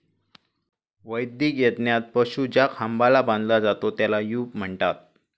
वैदिक यज्ञात पशु ज्या खांबाला बांधला जातो, त्याला 'यूप' म्हणतात.